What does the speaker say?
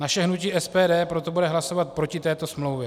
Naše hnutí SPD proto bude hlasovat proti této smlouvě.